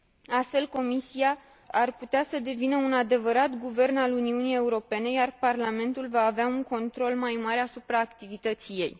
Astfel, Comisia ar putea să devină un adevărat guvern al Uniunii Europene, iar Parlamentul va avea un control mai mare asupra activității ei.